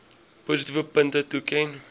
positiewe punte toeken